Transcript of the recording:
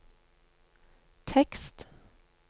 tekst